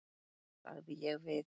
sagði ég við